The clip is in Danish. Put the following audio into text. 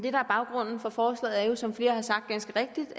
er baggrunden for forslaget er jo som flere ganske rigtigt